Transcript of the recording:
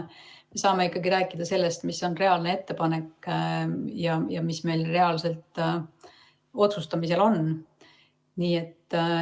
Me saame ikkagi rääkida sellest, mis on reaalne ettepanek ja mis meil reaalselt otsustamisel on.